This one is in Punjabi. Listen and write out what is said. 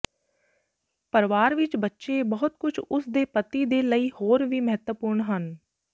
ਪਰਿਵਾਰ ਵਿਚ ਬੱਚੇ ਬਹੁਤ ਕੁਝ ਉਸ ਦੇ ਪਤੀ ਦੇ ਲਈ ਹੋਰ ਵੀ ਮਹੱਤਵਪੂਰਨ ਹਨ